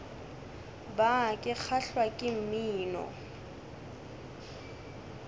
bar ke kgahlwa ke mmino